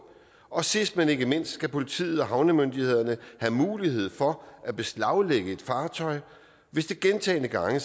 og sidst men ikke mindst skal politiet og havnemyndigheder have mulighed for at beslaglægge et fartøj hvis der gentagne gange